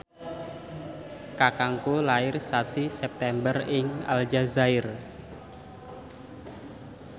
kakangku lair sasi September ing Aljazair